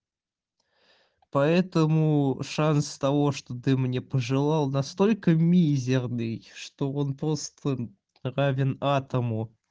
поэтому шанс того что ты мне пожелал настолько мизерный что он просто равен атому